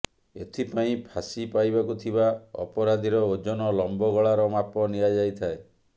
ଏଥିପାଇଁ ଫାଶୀ ପାଇବାକୁ ଥିବା ଅପରାଧୀର ଓଜନ ଲମ୍ବ ଗଳାର ମାପ ନିଆଯାଇଥାଏ